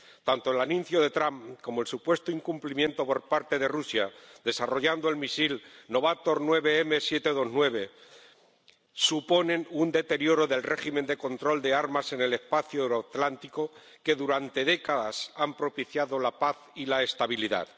Tanto el anuncio de Trump como el supuesto incumplimiento por parte de Rusia, desarrollando el misil Novator 9M729, suponen un deterioro del régimen de control de armas en el espacio euroatlántico que durante décadas ha propiciado la paz y la estabilidad.